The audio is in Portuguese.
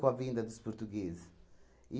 Com a vinda dos portugueses.